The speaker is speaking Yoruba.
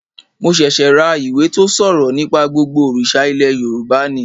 Mo ṣẹ̀ṣẹ̀ ra ìwé tó ṣòrọ̀ nípa gbogbo òrìṣà ilẹ̀ Yorùbá ni